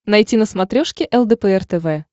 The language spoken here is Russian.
найти на смотрешке лдпр тв